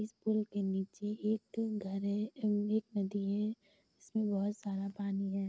इस पूल के निचे एक घर हैं। एक नदी हैं। जिसमें बहुत सारा पानी हैं।